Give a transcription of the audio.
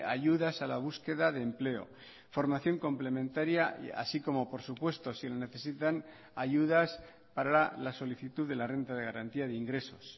ayudas a la búsqueda de empleo formación complementaria así como por supuesto si lo necesitan ayudas para la solicitud de la renta de garantía de ingresos